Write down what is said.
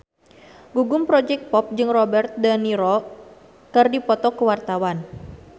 Gugum Project Pop jeung Robert de Niro keur dipoto ku wartawan